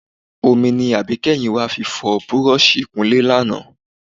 Omi ni àbíkẹ́yìn wa fi fọ búrọ́ọ̀ṣì ìkunlé lánàá